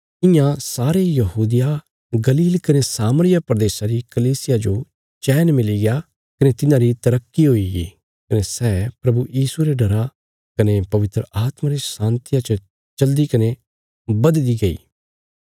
इयां सारे यहूदिया गलील कने सामरिया प्रदेशा री कलीसिया जो चैन मिलीग्या कने तिन्हांरी तरक्की हुईगी कने सै प्रभु यीशुये रे डरा कने पवित्र आत्मा रे शान्तिया च चलदी कने बधदी गई